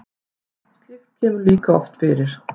slíkt kemur líka oft fyrir